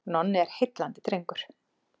Nonni er heillandi drengur.